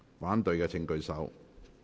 反對的請舉手。